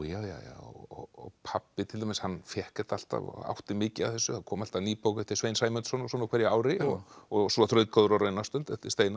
og pabbi til dæmis hann fékk þetta alltaf átti mikið af þessu það kom alltaf ný bók eftir Svein Sæmundsson á hverju ári og og svo Þrautgóðir á raunastund eftir Steinar